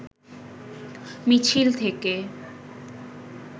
মিছিল থেকে